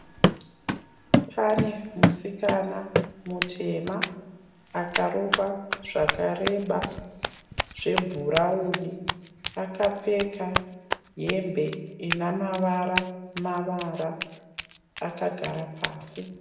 Pane musikana mutema akarukwa zvakareba zvebhurawuni akapfeka hembe ina mavara mavara akagara pasi.